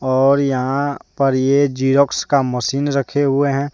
और यहां पर ये ज़ेरॉक्स का मशीन रखे हुए हैं।